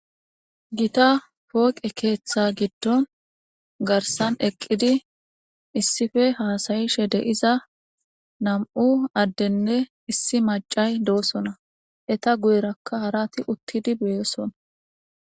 Gita pooqe keeththa giddon garsan eqqidi issife haasayishe deiza nam'u addenne issi macay doosona eta guyerakka harati uttidi beyosona.